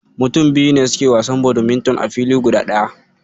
Mutum biyu ne suke wasan badminton a fili guda ɗaya.